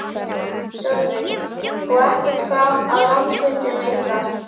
Sölvi: Og ekkert fram að landsfundinum ykkar?